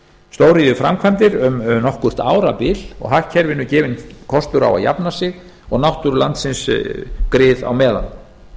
stóriðjuframkvæmdir um nokkurt árabil og hagkerfinu gefinn kostur á að jafna sig og náttúru landsins grið á meðan